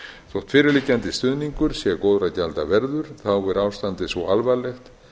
þótt fyrirliggjandi stuðningur sé góðra gjalda verður þá er ástandið svo alvarlegt